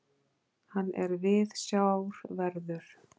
Hann er viðsjárverður.